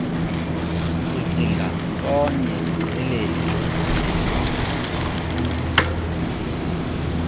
sicinga ntonye lelethu